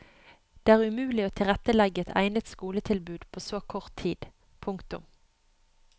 Det er umulig å tilrettelegge et egnet skoletilbud på så kort tid. punktum